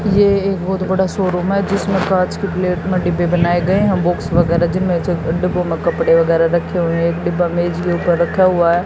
ये एक बहोत बड़ा शोरूम है जिसमें कांच की प्लेट में डिब्बे बनाए गए हैं बुक्स वगैरा जीन डिब्बे में कपड़े वगैरा रखे हुए एक डिब्बा मेज के ऊपर रखा हुआ है।